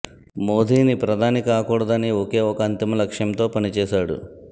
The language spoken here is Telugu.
మోదీని ప్రధాని కాకూడదు అనే ఒకే ఒక అంతిమ లక్ష్యంతో పనిచేశాడు